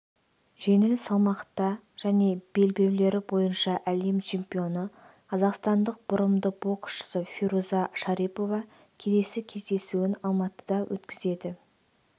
жеңіл салмақта және белбеулері бойынша әлем чемпионы қазақстандық бұрымды боксшы фируза шарипова келесі кездесуін алматыда өткізеді